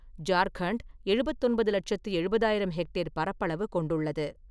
ஜார்க்கண்ட் எழுபெத்தொன்பது லெட்சத்தி எழுபதாயிரம் ஹெக்டேர் பரப்பளவு கொண்டுள்ளது.